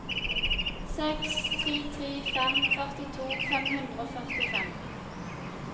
seks tre tre fem førtito fem hundre og førtifem